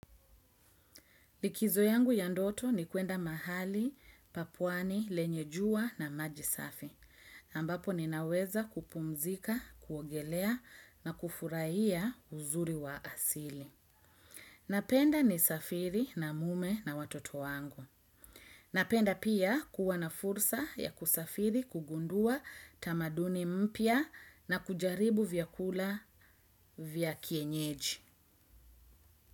Likizo yangu ya ndoto ni kwenda mahali pa pwani, lenye jua na maji safi ambapo ninaweza kupumzika, kuogelea na kufurahia uzuri wa asili. Napenda nisafiri na mume na watoto wangu. Napenda pia kuwa na fursa ya kusafiri, kugundua tamaduni mpya na kujaribu vyakula vya kienyeji.